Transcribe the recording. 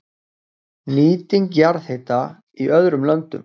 Nýting jarðhita í öðrum löndum